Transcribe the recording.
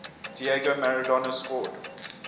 diego maradona scored